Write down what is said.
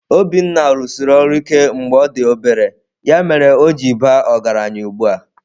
Obinna rụsiri ọrụ ike mgbe ọ dị obere, ya mere o ji baa ọgaranya ugbu a.